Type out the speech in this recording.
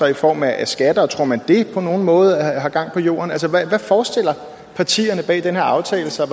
i form af skatter tror man at det på nogen måde har gang på jorden altså hvordan forestiller partierne bag den her aftale sig